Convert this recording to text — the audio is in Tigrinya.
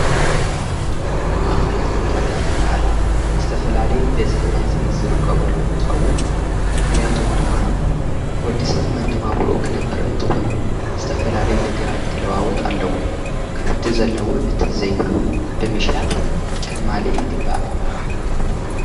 ማእኸላት ዕዳጋ ዝበሃላ ዝተፈላለዩ በዝሒ ህዝቢ ዝርከበሉ እንትኸውን ምኽንያቱም ድማ ወዲ ሰብ መነባብርኡ ኽነብር እንተኾይኑ ዝተፈላለዩ ነገራት ክለዋወጥ ኣለዎ፡፡ እቲ ዘለዎ ንቲዘይብሉ ብምሻጥ ከማልእ ይግባእ፡፡